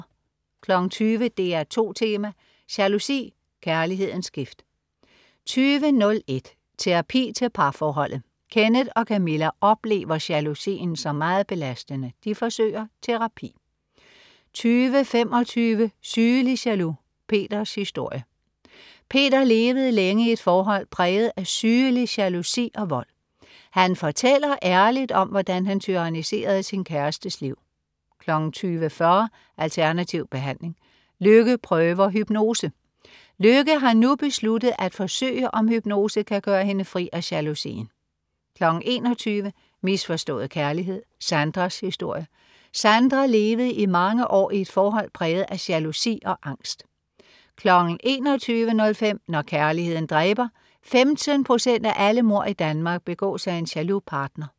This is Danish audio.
20.00 DR2 Tema: Jalousi, kærlighedens gift 20.01 Terapi til parforholdet. Kenneth og Camilla oplever jalousien som meget belastende. De forsøger terapi 20.25 Sygelig jaloux, Peters historie. Peter levede længe i et forhold præget af sygelig jalousi og vold. Han fortæller ærligt om, hvordan han tyranniserede sin kærestes liv 20.40 Alternativ behandling, Lykke prøver hypnose. Lykke har nu besluttet at forsøge, om hypnose kan gøre hende fri af jalousien 21.00 Misforstået kærlighed, Sandras historie. Sandra levede i mange år i et forhold præget af jalousi og angst 21.05 Når kærligheden dræber. 15 procent af alle mord i Danmark begås af en jaloux partner